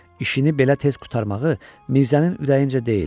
İşini belə tez qurtarmağı Mirzənin ürəyincə deyildi.